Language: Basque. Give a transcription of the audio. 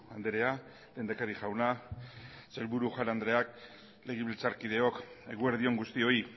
andrea lehendakari jauna sailburu jaun andreak legebiltzarkideok eguerdi on guztioi